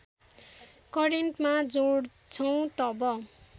करेन्टमा जोड्छौँ तब